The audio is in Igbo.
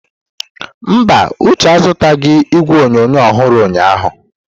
Mba, Uche azụtaghị igwe onyonyo ọhụrụ ụnyahụ.